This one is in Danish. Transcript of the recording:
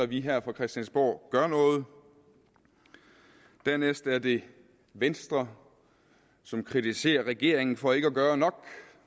vi her på christiansborg gør noget dernæst er det venstre som kritiserer regeringen for ikke at gøre nok